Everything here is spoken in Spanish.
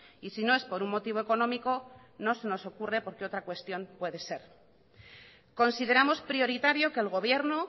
y si no es por un motivo económico no se nos ocurre por que otra cuestión puede ser consideramos prioritario que el gobierno